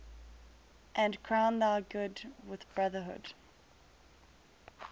and crown thy good with brotherhood